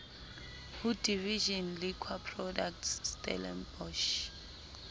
ho division liquor products stellenbosch